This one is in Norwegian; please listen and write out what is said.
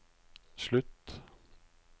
slutt